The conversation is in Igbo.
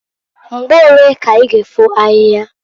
Mgbo olee ka i g' efo ahia?